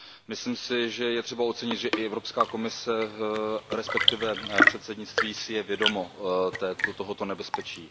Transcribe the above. Myslím si, že je třeba ocenit, že i Evropská komise, respektive předsednictví, si je vědomo tohoto nebezpečí.